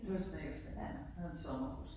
Det var i Snekkersten. Vi havde et sommerhus